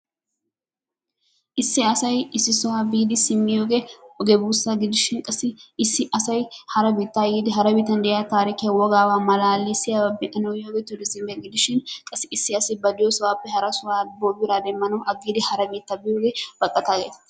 Issi asay issi sohuwaa biidi simmiyogee oge buussaa gidishin; qassi issi asay hara biittaa yiidi hara biittan de'iya taarikkiya wogaaba malaalissiyabappe be'anawu eti yiyoge issiba gidishin; qassi issi asi ba diyosappe hara sohuwa biraa demmanawu aggidi hara biittaa biyooge baqataa geetettees.